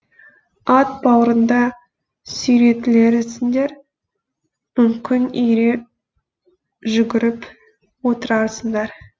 ат бауырында сүйретілерісіңдер мүмкін ере жүгіріп отырасыңдар